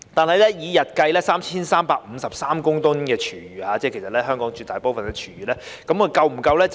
但是，以日計達 3,353 公噸的廚餘，即香港絕大部分的廚餘，這些設施是否足夠呢？